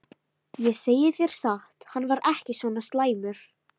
Ég segi þér satt- hann var ekki svo slæmur.